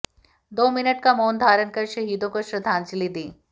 दो मिनट का मौन धारण कर शहीदों को श्रद्धांजलि दी